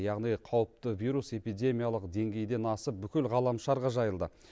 яғни қауіпті вирус эпидемиялық деңгейден асып бүкіл ғаламшарға жайылды